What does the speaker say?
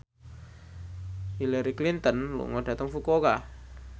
Hillary Clinton lunga dhateng Fukuoka